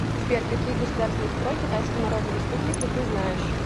сбер какие государственный строй китайской народной республики ты знаешь